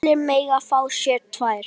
Allir mega fá sér tvær.